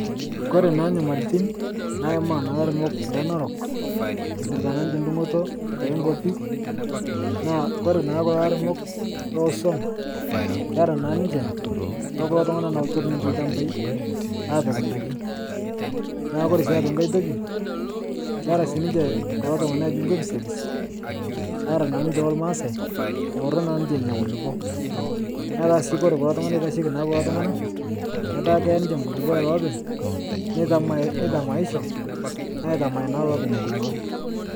Kore naa nyamalitin naima laremok lenarok epirta naa niche ndugoto enkopi naa kore naa kulo aremok lesuom kera naa ninche okulo loturr niche lshambai apik ndaki naaku kore sii aitoki nkae toki kera si ninche kulo ltungana loji lkipisigis ara naa ninche olmasae eworo naa niche nenia kulupo netaa sii kore kulo ltungana oitasheki ninche kulo ltungana ketaa keya niche nkulupo elopeny netamaicho aitamae naa lopeny nkulupo.